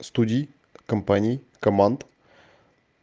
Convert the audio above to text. студий компании команд